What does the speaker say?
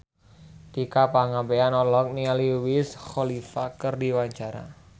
Tika Pangabean olohok ningali Wiz Khalifa keur diwawancara